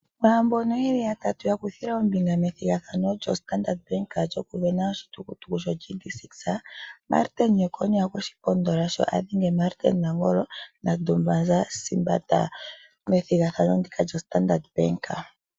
Kwaaambono yeli yatatu ya kuthile ombinga methigathano lyoStandard bank lyoku vena oshitukutuku shoGD6, Martin Jeckonia okweshi pondola sho adhenge Martin Nangolo naDumaza Sibanda methigathano ndika lyoStandard bank.